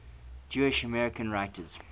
jewish american writers